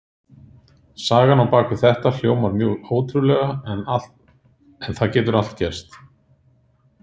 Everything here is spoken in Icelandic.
Sagan á bak við þetta hljómar mjög ótrúlega en það getur allt gerst.